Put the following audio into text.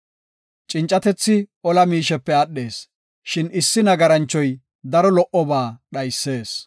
Cincatethi ola miishepe aadhees; shin issi nagaranchoy daro lo77oba dhaysees.